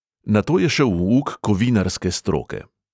Nato je šel v uk kovinarske stroke.